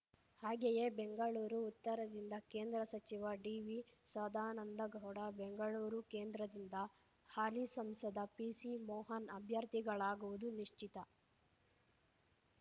ಹಾಗೆಯೇ ಬೆಂಗಳೂರು ಉತ್ತರದಿಂದ ಕೇಂದ್ರ ಸಚಿವ ಡಿವಿ ಸದಾನಂದಗೌಡ ಬೆಂಗಳೂರು ಕೇಂದ್ರದಿಂದ ಹಾಲಿ ಸಂಸದ ಪಿಸಿ ಮೋಹನ್ ಅಭ್ಯರ್ಥಿಗಳಾಗುವುದು ನಿಶ್ಚಿತ